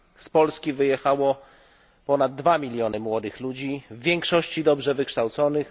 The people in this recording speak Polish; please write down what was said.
Z Polski wyjechało ponad 2 miliony młodych ludzi, w większości dobrze wykształconych.